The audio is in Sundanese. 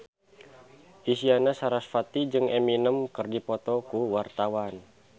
Isyana Sarasvati jeung Eminem keur dipoto ku wartawan